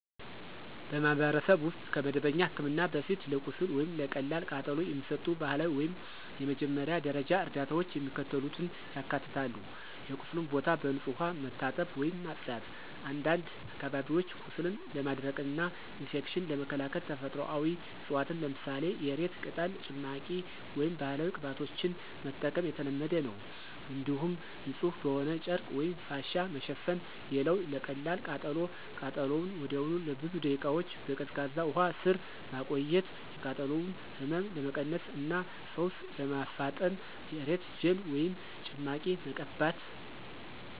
በማኅበረሰብ ውስጥ ከመደበኛ ሕክምና በፊት ለቁስል ወይም ለቀላል ቃጠሎ የሚሰጡ ባህላዊ ወይም የመጀመሪያ ደረጃ እርዳታዎች የሚከተሉትን ያካትታሉ የቁስሉን ቦታ በንጹሕ ውሃ መታጠብ ወይም ማጽዳት፣ አንዳንድ አካባቢዎች ቁስልን ለማድረቅና ኢንፌክሽንን ለመከላከል ተፈጥሯዊ ዕፅዋትን ለምሳሌ የእሬት ቅጠል ጭማቂ ወይም ባህላዊ ቅባቶችን መጠቀም የተለመደ ነው። እንዲሁም ንጹሕ በሆነ ጨርቅ ወይም ፋሻ መሸፈን። ሌላው ለቀላል ቃጠሎ ቃጠሎውን ወዲያውኑ ለብዙ ደቂቃዎች በቀዝቃዛ ውሃ ስር ማቆየት፣ የቃጠሎውን ህመም ለመቀነስ እና ፈውስ ለማፋጠን የእሬት ጄል ወይም ጭማቂ መቀባት።